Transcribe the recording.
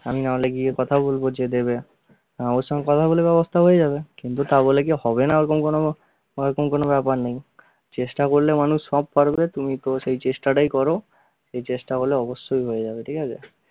আমি নাহলে গিয়ে কথা বলবো যে দেবে হা ওর সঙ্গে কথা বলে নেব ব্যবস্থা হয়ে যাবে, কিন্তু তাবলে কী হবে না ওরকম কোনো ওরকম কোনো ব্যাপার নেই, চেষ্টা করলে মানুষ সব পারবে তুমি তো সেই চেষ্টাটাই করো, চেষ্টা করলে অবশ্যই হয়ে যাবে ঠিক আছে?